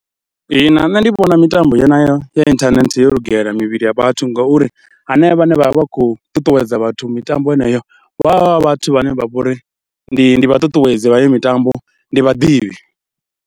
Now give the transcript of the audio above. Ihina nṋe ndi vhona mitambo yeneyo ya inthanethe yo lugela mivhili ya vhathu ngauri hanevha vhane vha vha vha khou ṱuṱuwedza vhathu mitambo yeneyo vha vha vhathu vhane vha vho ri ndi vha ṱuṱuwedzi vha heyo mitambo, ndi vhaḓivhi.